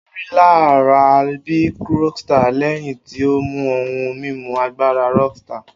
O rilara bi rockstar lẹhin ti o mu ohun mimu agbara rockstar